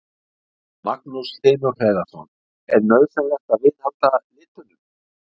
Magnús Hlynur Hreiðarsson: Er nauðsynlegt að viðhalda litunum?